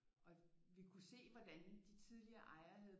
Og vi kunne se hvordan de tidligere ejere havde